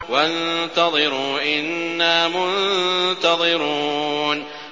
وَانتَظِرُوا إِنَّا مُنتَظِرُونَ